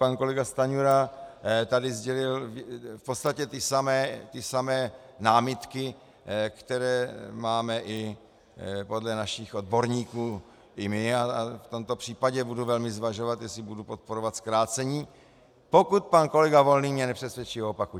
Pan kolega Stanjura tady sdělil v podstatě ty samé námitky, které máme i podle našich odborníků i my, a v tomto případě budu velmi zvažovat, jestli budu podporovat zkrácení, pokud pan kolega Volný mě nepřesvědčí o opaku.